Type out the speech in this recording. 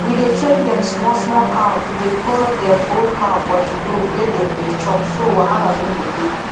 we dey train dem small small cow to dey follow dem old cow for the road wey dem dey chop so wahala no go dey